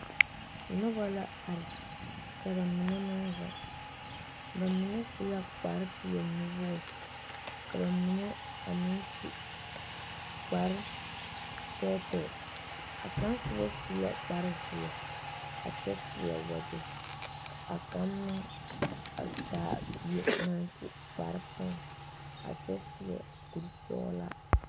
Nuba la arẽ ka ba mene meng zeng ba mene su la kpare pɛɛli nuwori ka ba mene meng su kpare tɛɛtɛɛ a kang suba su la kpare zeɛ a kyɛ seɛ wɔjɛ a kang meng a taa bie nang su kpare pɛlaa a kye seɛ kuri sɔglaa.